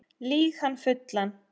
Lýg hann fullan